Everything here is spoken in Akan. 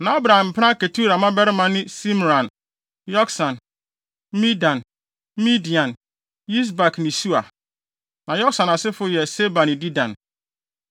Na Abraham mpena Ketura mmabarima ne Simran, Yoksan, Medan, Midian, Yisbak ne Sua. Na Yoksan asefo yɛ Seba ne Dedan.